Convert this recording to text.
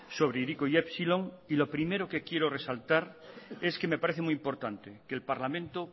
sobre hiriko y epsilon y lo primero que quiero resaltar es que me parece muy importante que el parlamento